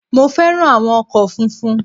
Mo fẹ́ràn áwọn ọkò funfun